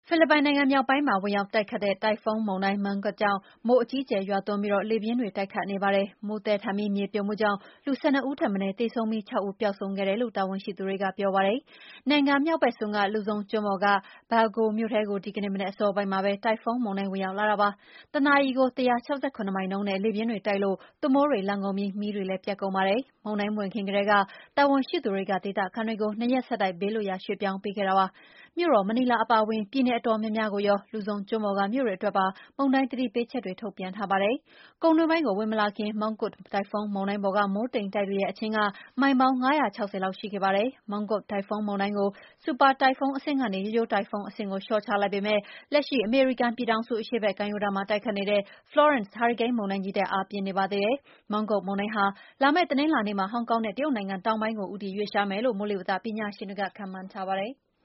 ဖိလစ်ပိုင် မြောက်ပိုင်းမှာ ဝင်ရောက်တိုက်ခတ်ခဲ့တဲ့ တိုင်ဖွန်းမုန်တိုင်း Mangkhut ကြောင့် မိုးအကြီးအကျယ်ရွာသွန်းပြီး လေပြင်းတွေ တိုက်ခတ်နေပါတယ်။ မိုးသည်းထန်ပြီး မြေပြိုမှုကြောင့် လူ ၁၂ ဦးထက်မနည်းသေဆုံးပြီး ၆ ဦးပျောက်ဆုံးခဲ့တယ်လို့ တာဝန်ရှိသူတွေကပြောပါတယ်။ နိုင်ငံမြောက်ဘက်စွန်း လူဇုံကျွန်းပေါ်က Baggao မြို့ထဲကို ဒီကနေ့မနက်အစောပိုင်းမှာပဲ တိုင်ဖွန်းမုန်တိုင်းဝင်ရောက်လာတာပါ။ တနာရီ ၁၆၇ မိုင်နှုန်းနဲ့ လေပြင်းတွေတိုက်လို့ သွပ်မိုးတွေလှန်ကုန်ပြီး မီးတွေလည်း ပြတ်ကုန်ပါတယ်။ မုန်တိုင်းမဝင်ခင်ကတည်းက တာဝန်ရှိသူတွေက ဒေသခံတွေကို ၂ ရက်ဆက်တိုက် ဘေးလွတ်ရာေ ရွှေ့ပြောင်းပေးခဲ့ပါတယ်။ မြို့တော်မနီလာအပါအဝင် ပြည်နည်အတော်များများကိုရော လူဇုံကျွန်းပေါ်က မြို့တွေအတွက်ပါ မုန်တိုင်းသတိပေးချက်တွေ ထုတ်ပြန်ထားပါတယ်။ ကုန်းတွင်းပိုင်းကို ဝင်မလာခင် Mangkhut တိုင်ဖွန်းမုန်တိုင်းပေါ်က မိုးတိမ်တိုက်တွေရဲ့ အချင်းက မိုင်ပေါင်း ၅၆၀ လောက်ရှိခဲ့ပါတယ်။ Mangkhut တိုင်ဖွန်းမုန်တိုင်းကို ဆူပါ တိုင်ဖွန်းအဆင့်ကနေ ရိုးရိုးတိုင်ဖွန်း အဆင့်ကိုလျော့ချလိုက်ပေမယ့် လက်ရှိအမေရိကန်ပြည်ထောင်စု အရှေ့ဘက် ကမ်းရိုးတမ်းမှာ တိုက်ခတ်နေတဲ့ Florance မုန်တိုင်းကြီးထက် အားပြင်းနေပါသေးတယ်။ Mangkhut မုန်တိုင်းဟာ လာမယ့်တနင်္လာနေ့မှာ ဟောင်ကောင်နဲ့ တရုတ်နိုင်ငံတောင်ပိုင်းကို ဦးတည်ရွှေ့လျားသွားမယ်လို့ မိုးလေဝသပညာရှင်တွေက ခန့်မှန်းထားပါတယ်။